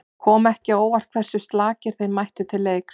Kom ekki á óvart hversu slakir þeir mættu til leiks?